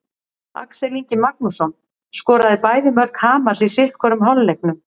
Axel Ingi Magnússon skoraði bæði mörk Hamars í sitthvorum hálfleiknum.